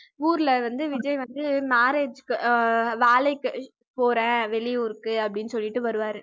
ஊர்ல வந்து விஜய் வந்து marriage க்கு அஹ் வேலைக்கு போறேன் வெளியூருக்கு அப்படின்னு சொல்லிட்டு வருவாரு